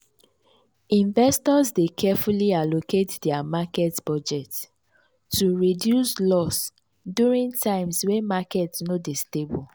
investors dey carefully allocate dia market budget to reduce loss during times wey market no dey stable.